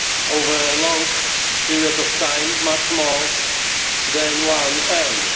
over a long period of time, much more than one earns.